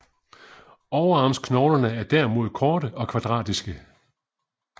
Overarmsknoglerne er derimod korte og kvadratiske